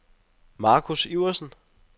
Marcus Iversen